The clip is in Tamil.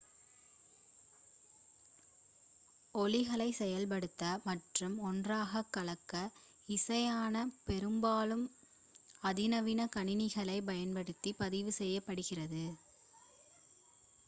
ஒலிகளை செயல்படுத்த மற்றும் ஒன்றாக கலக்க இசையானது பெரும்பாலும் அதிநவீன கணினிகளைப் பயன்படுத்தி பதிவு செய்யப்படுகிறது